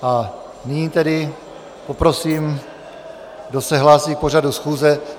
A nyní tedy poprosím, kdo se hlásí k pořadu schůze.